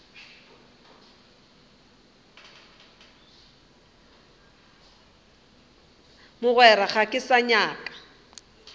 mogwera ga ke sa nyaka